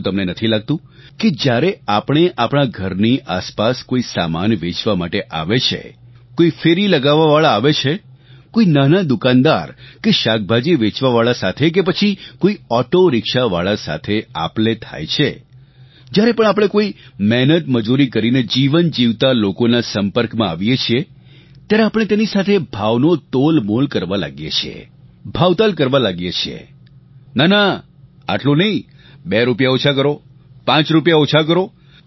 શું તમને નથી લાગતું કે જ્યારે આપણે આપણા ઘરની આસપાસ કોઇ સામાન વેચવા માટે આવે છે કોઇ ફેરી લગાવવાવાળા આવે છે કોઇ નાના દુકાનદાર કે શાકભાજી વેચવાવાળા સાથે કે પછી કોઇ ઓટોરિક્શાવાળા સાથે આપલે થાય છે જ્યારે પણ આપણે કોઇ મહેનતમજૂરી કરીને જીવન જીવતા લોકોનાં સંપર્કમાં આવીએ છીએ ત્યારે આપણે તેની સાથે ભાવનો તોલમોલ કરવા લાગીએ છીએ ભાવતાલ કરવા લાગીએ છીએ ના ના આટલું નહીં બે રૂપિયા ઓછા કરો પાંચ રૂપિયા ઓછા કરો